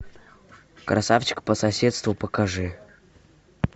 красавчик по соседству покажи